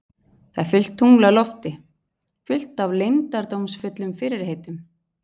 Það er fullt tungl á lofti, fullt af leyndardómsfullum fyrirheitum.